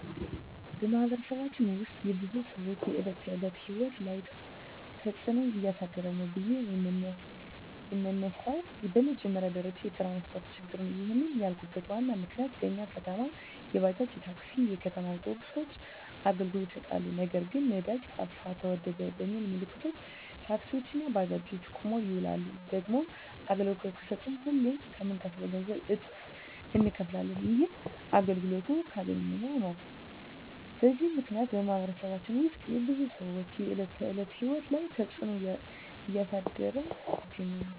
በማኅበረሰባችን ውስጥ የብዙ ሰዎች የዕለት ተዕለት ሕይወት ላይ ትጽእኖ እያሳደረ ነው ብዬ የመነሣው በመጀመሪያ ደረጃ የትራንስፓርት ችግር ነው። ይህንን ያልኩበት ዋናው ምክንያት በኛ ከተማ የባጃጅ፣ የታክሲ፣ የከተማ አውቶቢሶች አገልግሎት ይሠጣሉ። ነገር ግን ነዳጅ ጠፋ ተወደደ በሚል ምክንያት ታክሲዎች እና ባጃጆች ቁመው ይውላሉ። ደግሞም አገልግሎት ከሠጡም ሁሌ ከምንከፍለው ገንዘብ እጥፍ እነከፍላለን። ይህንንም አገልግሎቱን ካገኘን ነው። በዚህ ምክንያት በማኅበረሰባችን ውስጥ የብዙ ሰዎች የዕለት ተዕለት ሕይወት ላይ ትጽእኖ እያሳደረ ይገኛል።